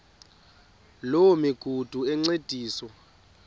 loo migudu encediswa